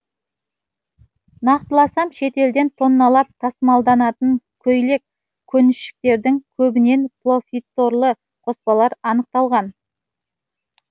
нақтыласам шетелден тонналап тасымалданатын көйлек көншіктердің көбінен полифторлы қоспалар анықталған